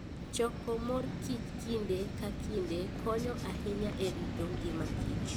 Choko mor kich kinde ka kinde konyo ahinya e rito ngimakich